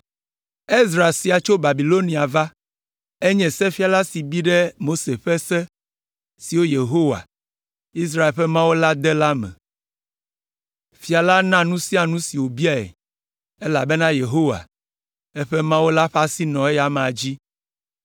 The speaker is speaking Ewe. Ezra sia tso Babilonia va. Enye sefiala si bi ɖe Mose ƒe Se, si Yehowa, Israel ƒe Mawu la de la me. Fia la na nu sia nu si wòbiae, elabena Yehowa, eƒe Mawu la ƒe asi nɔ eya amea dzi.